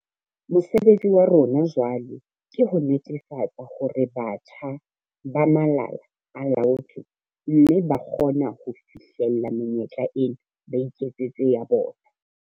Mosebetsi wa rona jwale ke ho netefatsa hore batjha ba malala a laotswe mme ba kgona ho fihlella menyetla ena, ba iketsetse ya bona.